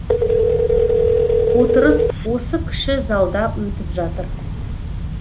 отырыс осы кіші залда өтіп жатыр